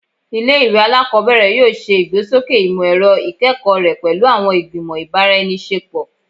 Ile-iwe alakọbẹrẹ yoo ṣe igbesoke imọ-ẹrọ ikẹkọ rẹ pẹlu awọn igbimọ ibaraenisepo